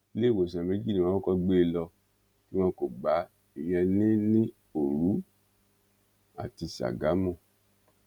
iléewòsàn méjì ni wọn kọkọ gbé e lọ tí wọn kò gbá a ìyẹn ní ní òru àti ságámù